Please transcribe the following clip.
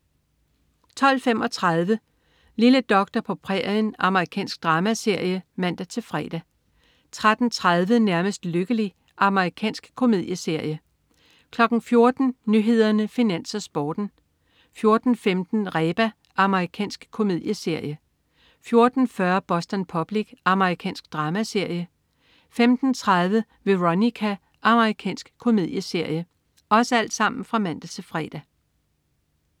12.35 Lille doktor på prærien. Amerikansk dramaserie (man-fre) 13.30 Nærmest lykkelig. Amerikansk komedieserie (man-fre) 14.00 Nyhederne, Finans, Sporten (man-fre) 14.15 Reba. Amerikansk komedieserie (man-fre) 14.40 Boston Public. Amerikansk dramaserie (man-fre) 15.30 Veronica. Amerikansk komedieserie (man-fre)